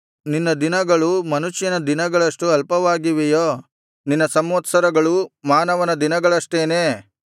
ನಿನ್ನ ದಿನಗಳು ಮನುಷ್ಯನ ದಿನಗಳಷ್ಟು ಅಲ್ಪವಾಗಿವೆಯೋ ನಿನ್ನ ಸಂವತ್ಸರಗಳೂ ಮಾನವನ ದಿನಗಳಷ್ಟೇನೇ